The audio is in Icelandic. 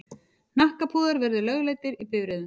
Hnakkapúðar verði lögleiddir í bifreiðum.